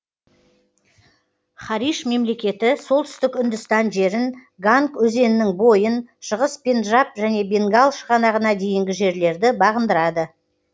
хариш мемлекеті солтүстік үндістан жерін ганг өзенінің бойын шығыс пенджаб және бенгал шығанағына дейінгі жерлерді бағындырады